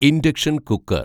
induction‍ cooker‍